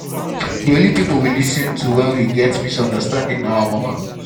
the only people we lis ten to wen we get misunderstanding na our mama